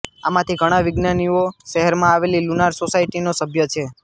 આમાંથી ઘણા વિજ્ઞાનીઓ શહેરમાં આવેલી લુનાર સોસાયટીનો સભ્ય છે